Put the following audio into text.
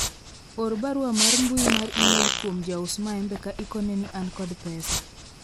or barua mar mbui mar email kuom jaus maembe ka ikone ni an kod pesa